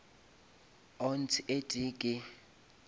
ounce e tee ke